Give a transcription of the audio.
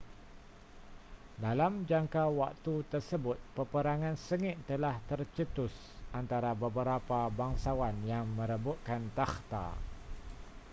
dalam jangka waktu tersebut peperangan sengit telah tercetus antara beberapa bangsawan yang merebutkan takhta